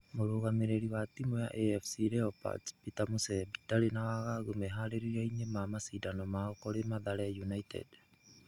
Mũrugamĩrĩri wa timu ya afc leopards Peter mũsembi ndarĩ na wagagu meharĩri-inĩ ma mashidano mao kũrĩ mathare united